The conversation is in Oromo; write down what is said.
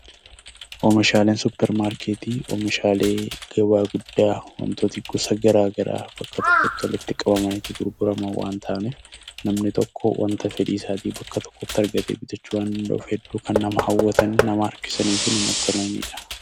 Oomishaaleen supermarketii oomishaalee gabaa guddaa wantoota gosa garaa garaa bakka tokkotti walitti qabamanii gurguraman waan ta'aniif namni tokko wanta fedhii isaatii bakka tokkotti argatee bitachuu waan danda'uuf hedduu kan nama hawwatuu, nama harkisanii fi namatti tolaniidha.